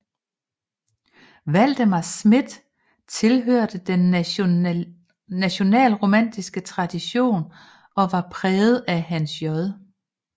Valdemar Schmidt tilhørte den nationalromantiske tradition og var præget af Hans J